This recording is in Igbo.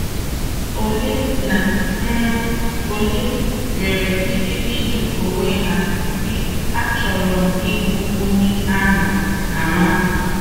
Ole na um ole nwere ike ịjụ onwe ha si, 'Àchọrọ m ịbụ onye a ma ama?